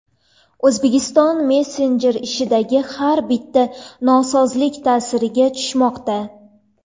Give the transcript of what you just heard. O‘zbekiston messenjer ishidagi har bitta nosozlik ta’siriga tushmoqda.